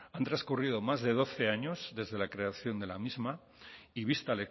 han transcurrido más de doce años desde la creación de la misma y vista